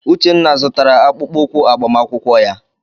Uchenna zụtara akpụkpọ ụkwụ agbamakwụkwọ ya.